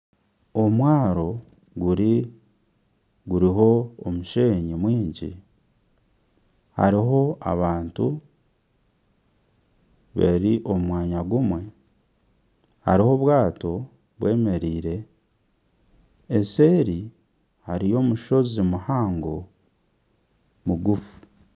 Omwaro guriho omusheenyi mwingi hariho abantu bari omu mwanya gumwe , hariho obwato bwemereire eseeri hariyo omushozi muhango mugufu.